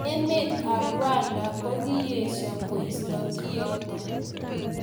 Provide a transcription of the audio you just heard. Emet ab Rwanda kokiesho koisto kiotok.